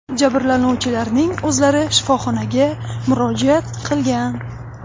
Jabrlanuvchilarning o‘zlari shifoxonaga murojaat qilgan.